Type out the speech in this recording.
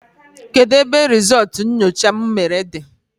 Kedụ ebe rizultú nyocha m mere dị?